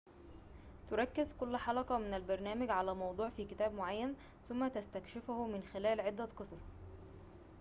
تركز كل حلقة من البرنامج على موضوع في كتاب معين ثم تستكشفه من خلال عدة قصص